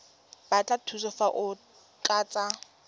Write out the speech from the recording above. batla thuso fa o tlatsa